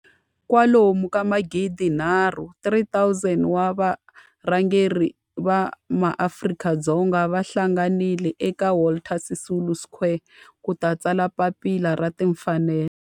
Kwalomu ka magidi nharhu, 3 000, wa varhangeri va maAfrika-Dzonga va hlanganile eka Walter Sisulu Square ku ta tsala Papila ra Timfanelo.